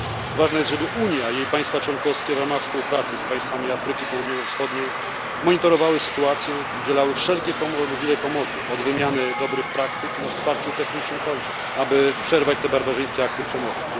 Ważne jest, żeby Unia, jej państwa członkowskie w ramach współpracy z państwami Afryki Południowo Wschodniej monitorowały sytuację i udzielały wszelkiej możliwej pomocy od wymiany dobrych praktyk po wsparcie techniczne aby przerwać te barbarzyńskie akty przemocy.